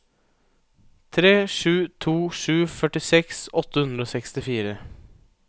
tre sju to sju førtiseks åtte hundre og sekstifire